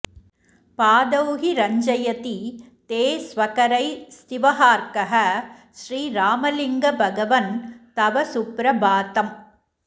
पादौहि रञ्जयति ते स्वकरै स्त्विहार्कः श्रीरामलिङ्गभगवन् तव सुप्रभातम्